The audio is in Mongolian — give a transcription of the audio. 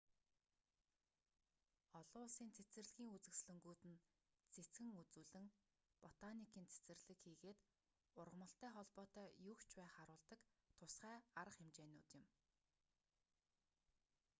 олон улсын цэцэрлэгийн үзэсгэлэнгүүд нь цэцгэн үзүүлэн ботаникийн цэцэрлэг хийгээд ургамалтай холбоотой юуг ч бай харуулдаг тусгай арга хэмжээнүүд юм